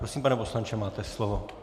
Prosím, pane poslanče, máte slovo.